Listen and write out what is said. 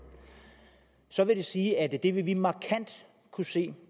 så vil det sige at det vil vi markant kunne se